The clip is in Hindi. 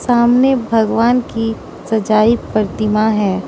सामने भगवान की सजाई प्रतिमा है।